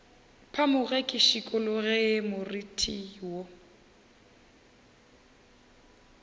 phamoge ke šikologe moriti wo